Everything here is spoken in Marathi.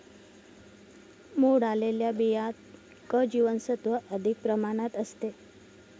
मोड आलेल्या बियांत क जीवनसत्त्व अधिक प्रमाणात असते.